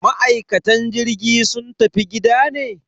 Ma'aikatan jirgi sun tafi gida ne?